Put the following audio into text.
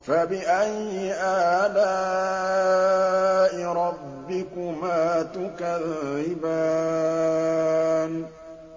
فَبِأَيِّ آلَاءِ رَبِّكُمَا تُكَذِّبَانِ